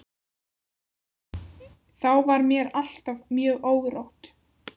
Þá var mér alltaf mjög órótt.